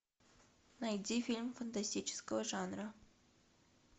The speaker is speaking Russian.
найди фильм фантастического жанра